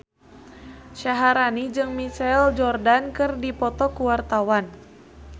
Syaharani jeung Michael Jordan keur dipoto ku wartawan